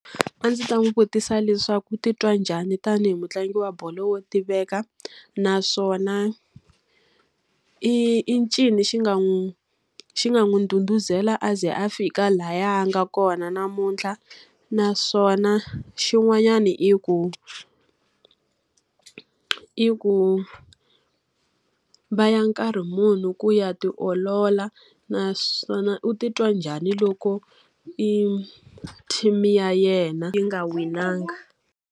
A ndzi ta n'wi vutisa leswaku u titwa njhani tanihi mutlangi wa bolo wo tiveka? Naswona i i ncini xi nga n'wi xi nga n'wi ndhudhuzela a ze a fika lahaya a nga kona namuntlha? Naswona xin'wanyana i ku i ku va ya nkarhi muni ku ya tiolola? Naswona u titwa njhani loko e team ya yena yi nga winangi?